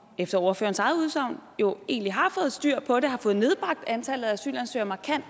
efter ordførerens eget udsagn jo egentlig har fået styr på det og har fået nedbragt antallet af asylansøgere markant